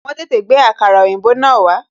Wọn tètè gbé àkàrà òyìnbó náà wá